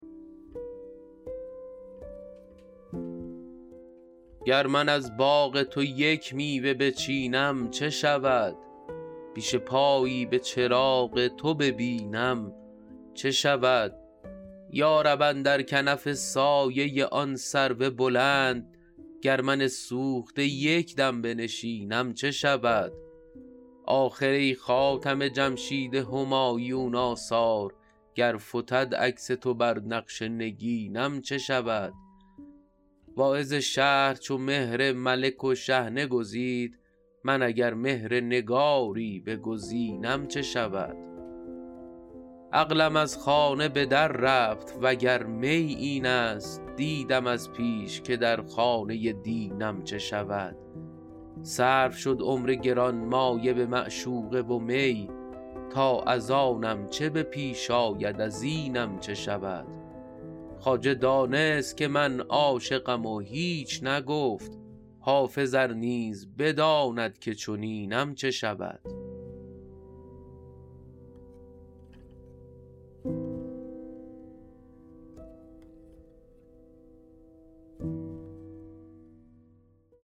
گر من از باغ تو یک میوه بچینم چه شود پیش پایی به چراغ تو ببینم چه شود یا رب اندر کنف سایه آن سرو بلند گر من سوخته یک دم بنشینم چه شود آخر ای خاتم جمشید همایون آثار گر فتد عکس تو بر نقش نگینم چه شود واعظ شهر چو مهر ملک و شحنه گزید من اگر مهر نگاری بگزینم چه شود عقلم از خانه به در رفت وگر می این است دیدم از پیش که در خانه دینم چه شود صرف شد عمر گرانمایه به معشوقه و می تا از آنم چه به پیش آید از اینم چه شود خواجه دانست که من عاشقم و هیچ نگفت حافظ ار نیز بداند که چنینم چه شود